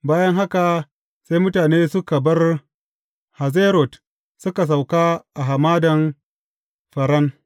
Bayan haka sai mutane suka bar Hazerot suka sauka a Hamadan Faran.